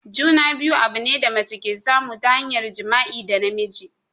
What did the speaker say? Juna-biyu abune da mace ke samu ta hanyar jima'i da namiji.